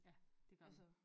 Ja det gør man